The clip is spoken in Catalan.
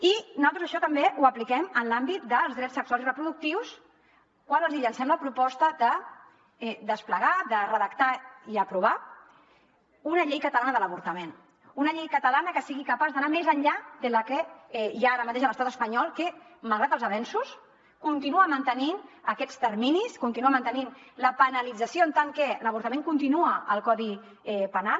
i naltros això també ho apliquem en l’àmbit dels drets sexuals i reproductius quan els hi llancem la proposta de desplegar de redactar i aprovar una llei catalana de l’avortament una llei catalana que sigui capaç d’anar més enllà de la que hi ha ara mateix a l’estat espanyol que malgrat els avenços continua mantenint aquests terminis continua mantenint la penalització en tant que l’avortament continua al codi penal